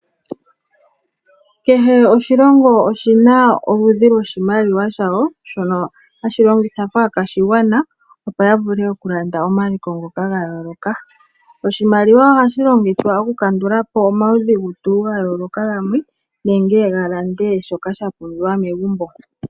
Kehe oshilongo oshina oludhi lwoshimaliwa shayo shono hashi longithwa kaakwashigwana opo ya vule okulanda omaliko ngoka ga yooloka. Oshimaliwa ohashi longithwa okukandula po omaudhigu tuu ga yooloka gamwe nenge yi lande shoka sha pumbiwa megumbo.